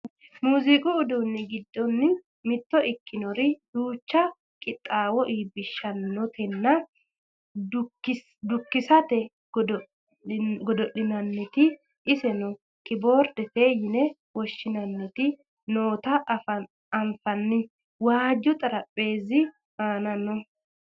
muziiqu uduunni giddo mitto ikkinori duucha qixxaawo iibbishatenna dukkisate godo'linanniti iseno kiboordete yine woshshinanniti noota anfanni waaju xarapheezzi aana no